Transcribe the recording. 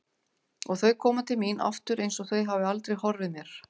Og þau koma til mín aftur einsog þau hafi aldrei horfið mér.